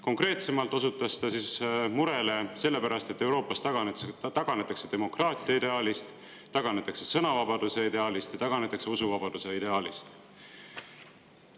Konkreetsemalt osutas murele selle pärast, et Euroopas taganetakse demokraatia ideaalist, taganetakse sõnavabaduse ideaalist, taganetakse usuvabaduse ideaalist.